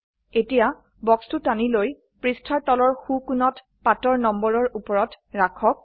এতিয়া বক্সটো টানি লৈ পৃষ্ঠাৰ তলৰ সো কোণত পাতৰ নম্বৰৰ উপৰত ৰাখক